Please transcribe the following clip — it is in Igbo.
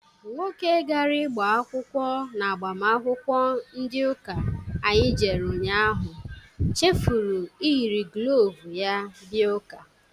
Nwoke gajere igba akwụkwọ n'agbamakwụkwọ ndị ụka anyị jere ụnyaahụ chefuru iyiri glovu ya bia ụka.